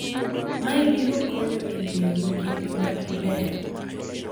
mae biro konyo e ng'eyo migepe ma ibero